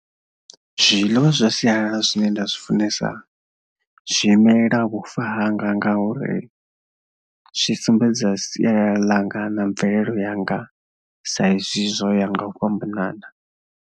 Zwiḽiwa zwa sialala zwine nda zwi funesa zwi imelela vhufa hanga ngauri zwi sumbedza siya ḽanga na mvelelo yanga saizwi zwo ya nga u fhambanana.